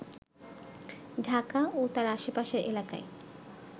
ঢাকা ও তার আশেপাশের এলাকায়